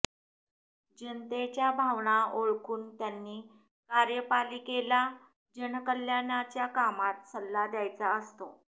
जनतेच्या भावना ओळखून त्यांनी कार्यपालिकेला जनकल्याणाच्या कामात सल्ला द्यायचा असतो